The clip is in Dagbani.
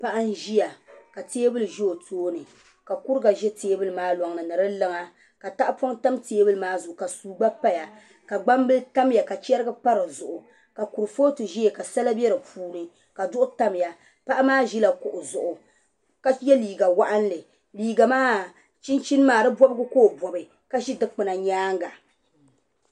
Paɣa n ʒiya ka teebuli ʒɛ o tooni ka kuriga ʒɛ teebuli maa loŋni ni di luŋa ka tahapoŋ tam teebuli maa zuɣu ka suu gba paya ka gbambili tamya ka chɛrigi pa dizuɣu ka kurifooti ʒɛya ka sala bɛ di puuni ka duɣu tamya paɣa maa ʒila kuɣu zuɣu ka yɛ liiga waɣanli liiga maa chinchin maa di bobgi ka o bobi ka ʒi dikpuna nyaanga